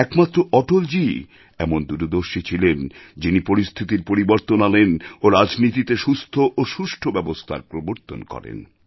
একমাত্র অটলজীই এমন দূরদর্শী ছিলেন যিনি পরিস্থিতির পরিবর্তন আনেন ও রাজনীতিতে সুস্থ ও সুষ্ঠু ব্যবস্থার প্রবর্তন করেন